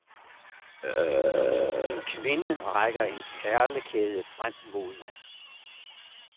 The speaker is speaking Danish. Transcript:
En kvinde rækker en perlekæde frem mod mig.